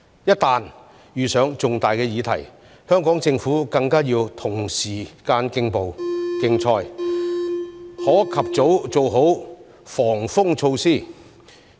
一旦遇上重大的議題，香港政府更要與時間競賽，可及早做好"防風措施"。